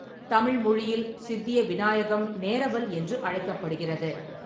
தமிழ் மொழியில் சித்திய விநாயகம் நேரவல் என்று அழைக்கப்படுகிறது.